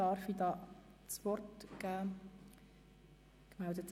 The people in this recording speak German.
Wem darf ich das Wort erteilen?